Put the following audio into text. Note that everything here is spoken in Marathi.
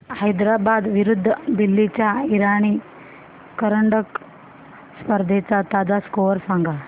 हैदराबाद विरुद्ध दिल्ली च्या इराणी करंडक स्पर्धेचा ताजा स्कोअर सांगा